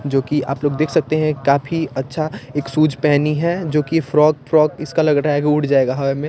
जोकि आप लोग देख सकते हैं काफी अच्छा एक सूज पेहनी है जोकि फ्रोक फ्रोक इसका लग रहा है की उड़ जाऐगा हवा में --